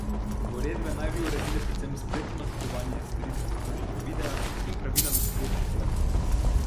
Uredbe naj bi uredile predvsem spletno nakupovanje, storitve pretočnega videa in pravila na spletnih platformah.